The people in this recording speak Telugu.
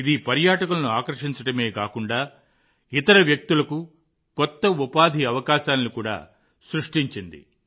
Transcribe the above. ఇది పర్యాటకులను ఆకర్షించడమే కాకుండా ఇతర వ్యక్తులకు కొత్త ఉపాధి అవకాశాలను కూడా సృష్టించింది